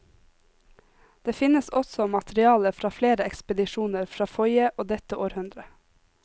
Det finnes også materiale fra flere ekspedisjoner fra forrige og dette århundre.